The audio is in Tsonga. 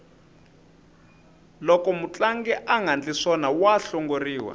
loko mutlangi angandli swona wa hlongoriwa